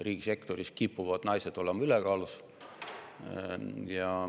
Riigisektoris kipuvad naised olema ülekaalus.